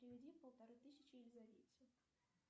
переведи полторы тысячи елизавете